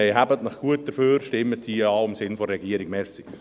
Deshalb: Seien Sie dafür und stimmen Sie im Sinne der Regierung Ja.